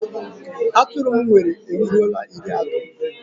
Atụrụ m nwere eruola iri ato